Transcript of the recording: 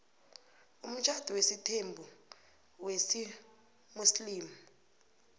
umtjhado wesithembu wesimuslimu